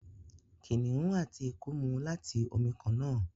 Kìnìún àti eku mú láti omí kànnà.